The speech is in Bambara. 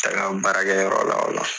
E ka baarakɛyɔrɔ la o la